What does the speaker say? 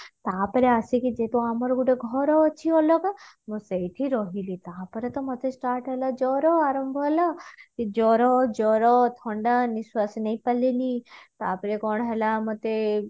ତାପରେ ଆସିକି ଯେହେତୁ ଆମର ଗୋଟେ ଘର ଅଛି ଅଲଗା ମୁଁ ସେଇଠି ରହିଲି ତାପରେ ତ ମତେ start ହେଲା ଜର ଆରମ୍ଭ ହେଲା ଜର ଜର ଥଣ୍ଡା ନିଶ୍ଵାସ ନେଇ ପାରିଲିନି ତାପରେ କଣ ହେଲା ମତେ